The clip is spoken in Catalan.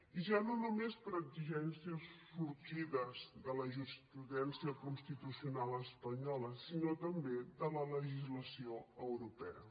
i ja no només per exigències sorgides de la jurisprudència constitucional espanyola sinó també de la legislació europea